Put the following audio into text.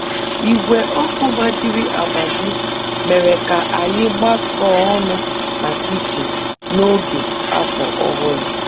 Igwe ọkụ gbajiri agbaji mere ka anyị gbakọọ ọnụ na kichin n'oge Afọ Ọhụrụ